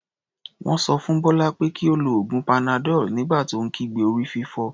Wọ́n sọ fún Bọ́lá pé kí ó lo oògùn panadol nígbà tó ń kígbe orí-fífọ́.